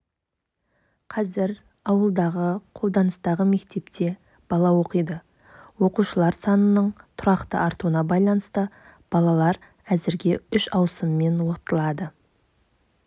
қазір ауылдағы қолданыстағы мектепте бала оқиды оқушылар санының тұрақты артуына байланысты балалар әзірге үш ауысыммен оқытылады